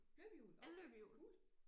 Løbehjul okay cool